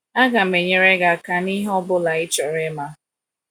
Agam enyere gị aka nihe ọ bụla ị chọrọ ịma.